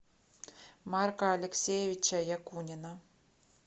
марка алексеевича якунина